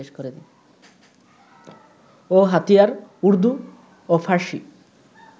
ও হাতিয়ার উর্দু ও ফারসি